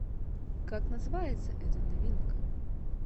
как называется эта новинка